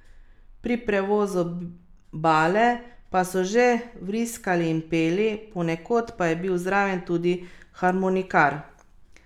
Pri prevozu bale pa so že vriskali in peli, ponekod pa je bil zraven tudi harmonikar.